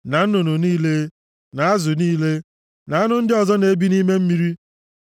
na nnụnụ niile, na azụ niile, na anụ ndị ọzọ na-ebi nʼime mmiri.